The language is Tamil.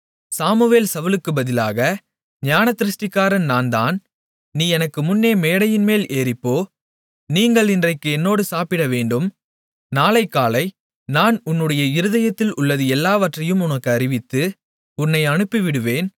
சாமுவேல் சவுலுக்குப் பதிலாக ஞானதிருஷ்டிக்காரன் நான்தான் நீ எனக்கு முன்னே மேடையின்மேல் ஏறிப்போ நீங்கள் இன்றைக்கு என்னோடு சாப்பிடவேண்டும் நாளைக்காலை நான் உன்னுடைய இருதயத்தில் உள்ளது எல்லாவற்றையும் உனக்கு அறிவித்து உன்னை அனுப்பிவிடுவேன்